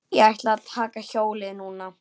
Ég ætla að taka hjólið núna.